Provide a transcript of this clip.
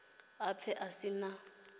a pfe a si na